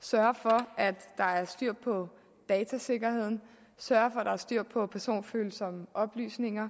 sørge for at der er styr på datasikkerheden sørge for at der er styr på personfølsomme oplysninger